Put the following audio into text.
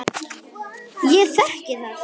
Ég þekki það.